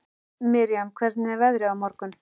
Miriam, hvernig er veðrið á morgun?